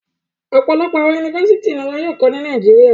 Ọpọlọpọ awọn Yunifásítì ni wọn yóò kọ ni Nàìjíríà